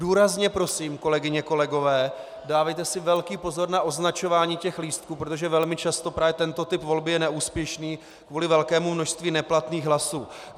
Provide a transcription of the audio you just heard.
Důrazně prosím, kolegyně, kolegové, dávejte si velký pozor na označování těch lístků, protože velmi často právě tento typ volby je neúspěšný kvůli velkému množství neplatných hlasů.